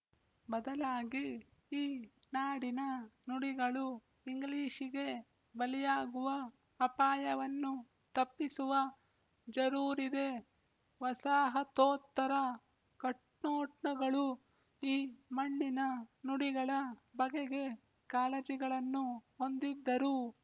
ಬದಲಾಗಿ ಈ ನಾಡಿನ ನುಡಿಗಳು ಇಂಗ್ಲಿಶಿಗೆ ಬಲಿಯಾಗುವ ಅಪಾಯವನ್ನು ತಪ್ಪಿಸುವ ಜರೂರಿದೆ ವಸಾಹತೋತ್ತರ ಕಣ್ನೋಟಗಳು ಈ ಮಣ್ಣಿನ ನುಡಿಗಳ ಬಗೆಗೆ ಕಾಳಜಿಗಳನ್ನು ಹೊಂದಿದ್ದರೂ